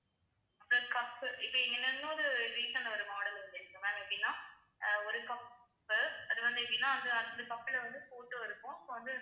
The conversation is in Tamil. அப்பறோம் cup உ இப்ப இங்க இன்னொரு recent ஆ ஒரு model வந்துருக்கு ma'am எப்படின்னா அஹ் ஒரு cup உ அது வந்து எப்படின்னா வந்து அந்த cup ல வந்து photo இருக்கும் இப்ப வந்து